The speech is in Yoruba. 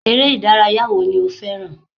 Eré ìdárayá wo ni o fẹràn?